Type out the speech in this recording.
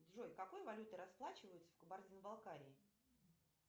джой какой валютой расплачиваются в кабардино балкарии